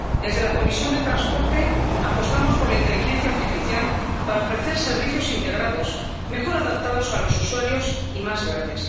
Desde la Comisión de Transportes y Turismo apostamos por la inteligencia artificial para ofrecer servicios integrados, mejor adaptados a los usuarios y más verdes.